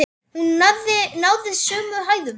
Hún náði sömu hæðum!